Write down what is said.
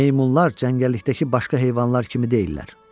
Meymunlar cəngəllikdəki başqa heyvanlar kimi deyillər.